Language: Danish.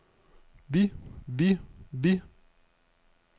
vi vi vi